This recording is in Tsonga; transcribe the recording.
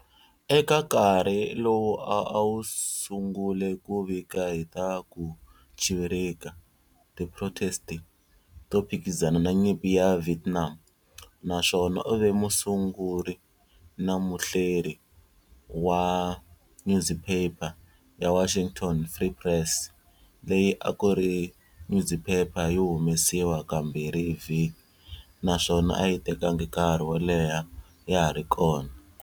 Eka nkarhi lowu a a sungule ku vika hi ta ku chivirika, tiprotesti, to phikizana na nyimpi ya Vietnam, na swona u ve musunguri na muhleri wa nyuziphepha ya"Washington Free Press", leyi a a ku ri nyuziphepha yo humesiwa kambirhi hi vhiki, na swona a yi tekangi nkarhi wo leha ya ha ri kona.